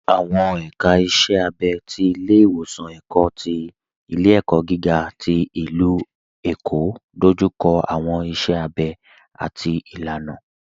Awọn èka ìṣẹ̀ àbẹ̀ ti Ilẹ̀-iwọsan Ikẹkọ̀ ti Ilẹ̀-ẹ̀kọ́ gíga ti Ilú-Ẹ̀kọ́ dójúkọ̀ awọn ìṣẹ̀ àbẹ̀ àti ìlànà.